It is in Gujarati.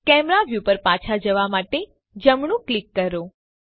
કેમેરા વ્યુ પર પાછા જવા માટે જમણું ક્લિક કરો